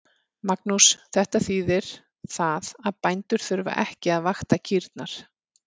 Magnús: Þetta þýðir það að bændur þurfa ekki að vakta kýrnar?